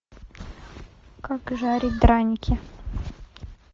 как жарить драники